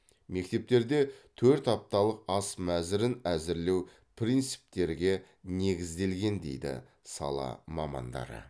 мектептерде төрт апталық ас мәзірін әзірлеу принциптерге негізделген дейді сала мамандары